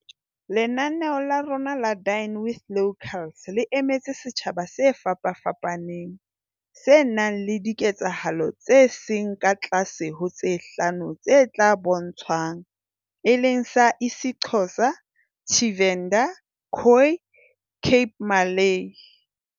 "Lenaneo la rona la Dine with Locals le emetse setjha ba se fapafapaneng, se nang le diketsahalo tse seng ka tlase ho tse hlano tse tla bo ntshwang, e leng sa isiXhosa, Tshivenḓa, Khoi, Cape Malay"